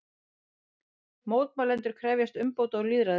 Mótmælendur krefjast umbóta og lýðræðis